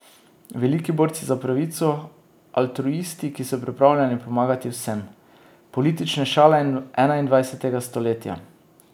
Veliki borci za pravico, altruisti, ki so pripravljeni pomagati vsem.